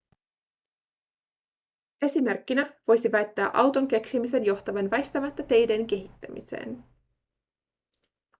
esimerkkinä voisi väittää auton keksimisen johtavan väistämättä teiden kehittämiseen